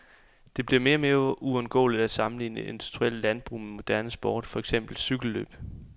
Det bliver mere og mere uundgåeligt at sammenligne industrielt landbrug med moderne sport, for eksempel cykellløb.